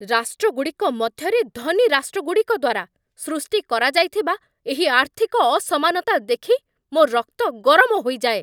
ରାଷ୍ଟ୍ରଗୁଡ଼ିକ ମଧ୍ୟରେ, ଧନୀ ରାଷ୍ଟ୍ରଗୁଡ଼ିକ ଦ୍ୱାରା ସୃଷ୍ଟି କରାଯାଇଥିବା ଏହି ଆର୍ଥିକ ଅସମାନତା ଦେଖି ମୋ ରକ୍ତ ଗରମ ହୋଇଯାଏ।